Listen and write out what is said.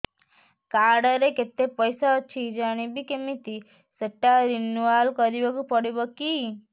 card ରେ କେତେ ପଇସା ଅଛି ଜାଣିବି କିମିତି ସେଟା ରିନୁଆଲ କରିବାକୁ ପଡ଼ିବ କି